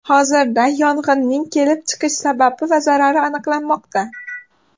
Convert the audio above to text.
Hozirda yong‘inning kelib chiqish sababi va zarari aniqlanmoqda.